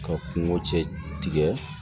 Ka kungo cɛ tigɛ